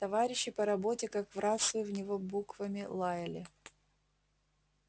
товарищи по работе как в рацию в него буквами лаяли